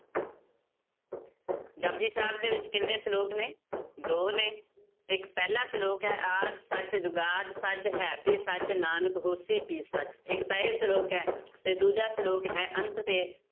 ਜਪੁਜੀ ਸਾਹਿਬ ਦੇ ਵਿੱਚ ਕਿੰਨੇ ਸਲੋਕ ਨੇ ਦੋ ਨੇ, ਇੱਕ ਪਹਿਲਾ ਸਲੋਕ ਹੈ ਆਦਿ ਸਚ ਜੁਗਾਦ ਸਚ ਹੈਭੀ ਸਚ ਨਾਨਕ ਹੋਸੀ ਭੀ ਸਚ, ਇੱਕ ਤਾਂ ਇਹ ਸਲੋਕ ਹੈ ਤੇ ਦੂਜਾ ਸਲੋਕ ਹੈ ਅੰਤ ਤੇ